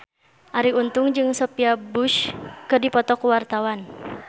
Arie Untung jeung Sophia Bush keur dipoto ku wartawan